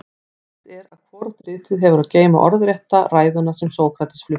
ljóst er að hvorugt ritið hefur að geyma orðrétta ræðuna sem sókrates flutti